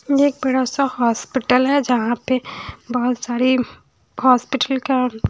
एक बड़ासा हॉस्पिटल हैं। जहाॅं पे बहोत सारी हॉस्पिटल के--